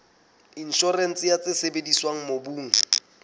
inshorense ya tse sebediswang mobung